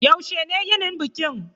Yaushe ne yinin bikin?